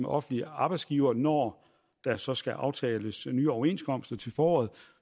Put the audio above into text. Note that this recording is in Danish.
offentlig arbejdsgiver når der så skal aftales nye overenskomster til foråret